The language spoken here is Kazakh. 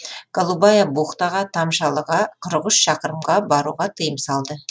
голубая бухтаға тамшалыға қырық үш шақырымға баруға тыйым салды